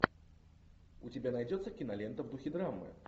у тебя найдется кинолента в духе драмы